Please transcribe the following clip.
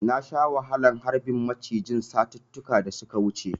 Na sha wahalar harbin macijin satuttuka da suka wuce.